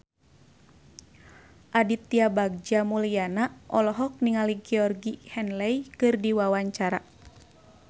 Aditya Bagja Mulyana olohok ningali Georgie Henley keur diwawancara